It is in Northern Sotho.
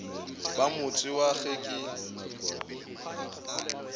ba motse wa ge ke